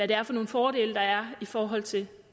det er for nogle fordele der er i forhold til